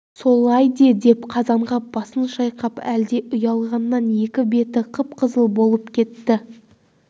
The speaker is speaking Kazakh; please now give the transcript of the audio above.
солай де деп қазанғап басын шайқап әлде ұялғаннан екі беті қып-қызыл болып кетті